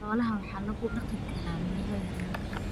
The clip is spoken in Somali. Xoolaha waxaa lagu dhaqi karaa meelo yaryar.